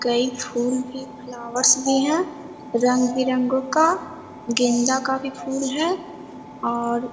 कई फूल भी फ्लावर्स भी है रंग-बिरंगो का गेंदा का भी फूल है और --